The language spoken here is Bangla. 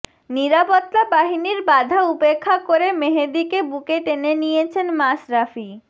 নিরাপত্তা বাহিনীর বাধা উপেক্ষা করে মেহেদীকে বুকে টেনে নিয়েছেন মাশরাফি